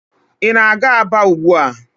Ị na-aga Aba ugbua?